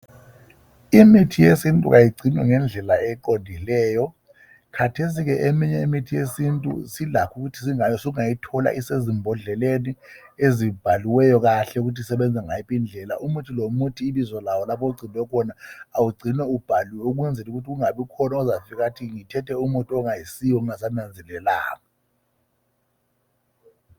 imithi yesintu kayigcine ngedlela eqondileyo khathesi ke eminye imithi yesintu sungayi thola isembodleleni ezibhaliweyo kahle ukuthi isebenza ngayiphi indlela lomuthi ibizo lawo lapho ogcinwe khona kawu gciywe ubhaliwe ibizo lawo ukwenzela ukuthi kungabikhona ozafika athi ngithethe ongasiyo nginga nanzelelanga